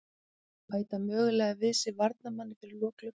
Bæta mögulega við sig varnarmanni fyrir lok gluggans.